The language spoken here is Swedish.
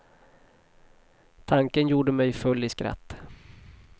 Tanken gjorde mig full i skratt.